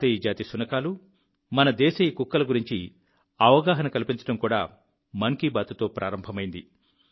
భారతీయ జాతి శునకాలు మన దేశీయ కుక్కల గురించి అవగాహన కల్పించడం కూడా మన్ కీ బాత్తో ప్రారంభమైంది